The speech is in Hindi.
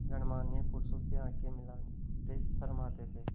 गणमान्य पुरुषों से आँखें मिलाते शर्माते थे